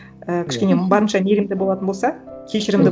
і кішкене барынша мейірімді болатын болса кешірімді